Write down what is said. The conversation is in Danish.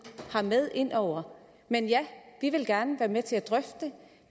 har med ind over men ja vi vil gerne være med til at drøfte det